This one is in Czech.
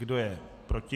Kdo je proti?